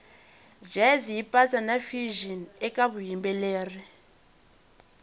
jazz yipatsa nafusion ekavuyimbeleri